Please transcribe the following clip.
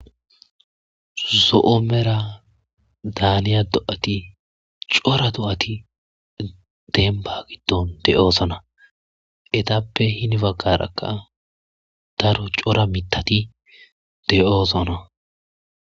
zo'o mera daaniya do7ati cora do7ati denba giddon de7oosona etappe hini baggarakka daro cora mitati de7oosona